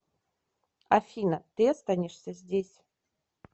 афина ты останешься здесь